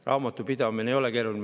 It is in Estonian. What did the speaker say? Raamatupidamine ei ole keeruline.